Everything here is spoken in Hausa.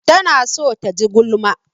Tana so ta ji gulma.